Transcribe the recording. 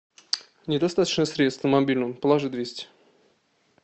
недостаточно средств на мобильном положи двести